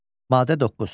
Maddə 9.